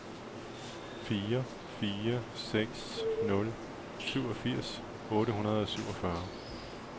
fire fire seks nul syvogfirs otte hundrede og syvogfyrre